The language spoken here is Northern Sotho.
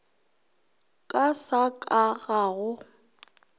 ka sa ka ga go